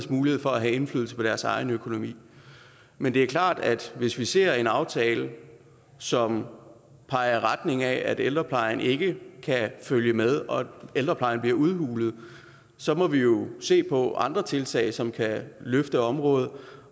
mulighed for at have indflydelse på deres egen økonomi men det er klart at hvis vi ser en aftale som peger i retning af at ældreplejen ikke kan følge med og at ældreplejen bliver udhulet så må vi jo se på andre tiltag som kan løfte området